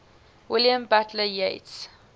william butler yeats